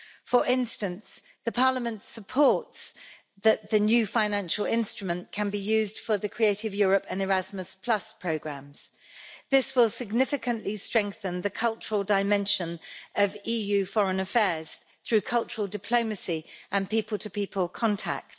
For instance, Parliament supports the fact that the new financial instrument can be used for the Creative Europe and Erasmus programmes. This will significantly strengthen the cultural dimension of EU foreign affairs through cultural diplomacy and people-to-people contact.